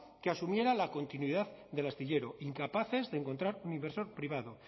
que asumiera la continuidad del astillero incapaces de encontrar un inversor privado